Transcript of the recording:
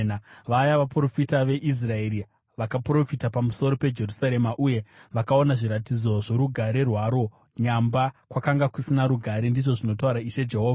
vaya vaprofita veIsraeri vakaprofita pamusoro peJerusarema uye vakaona zviratidzo zvorugare rwaro nyamba kwakanga kusina rugare, ndizvo zvinotaura Ishe Jehovha.” ’